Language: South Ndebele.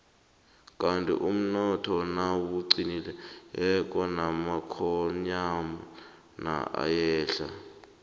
kandi umnotho nawuqinileko namakonyana ayehla